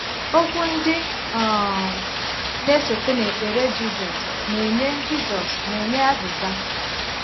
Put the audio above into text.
Okwu ndị um na-esote n’ekpere Jisus na-enye Jisus na-enye azịza.